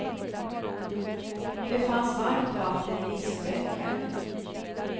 Det fanns varmt vatten i diskbänken.